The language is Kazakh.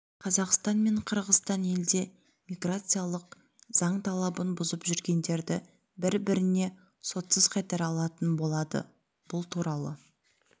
қазақстан мен қырғызстан елде миграциялық заң талабын бұзып жүргендерді бір-біріне сотсыз қайтара алатын болады бұл туралы